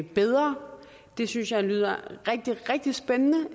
bedre det synes jeg lyder rigtig rigtig spændende